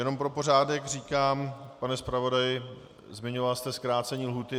Jenom pro pořádek říkám, pane zpravodaji, zmiňoval jste zkrácení lhůty.